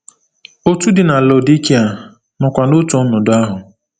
Otù dị na Laodikịa nọkwa n’otu ọnọdụ ahụ.